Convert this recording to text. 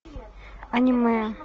аниме